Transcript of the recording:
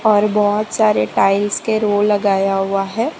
और बहुत सारे टाइल्स के रोल लगाया हुआ है।